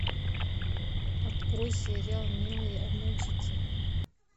открой сериал милые обманщицы